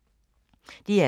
DR2